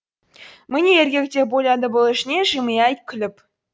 міне еркек деп ойлады бұл ішінен жымия күліп